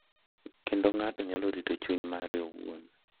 Kendo ng’ato nyalo rito chuny mare owuon,